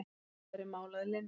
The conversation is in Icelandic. Nú væri mál að linni.